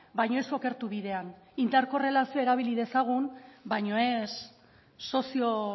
baino ez okertu bidean interkorrelazioa erabili dezagun baino ez sozio